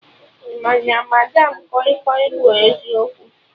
Ị ma na madam kọi kọi bụ eziokwu?